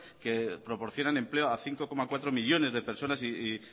que proporcionan empleo a cinco coma cuatro millónes de personas y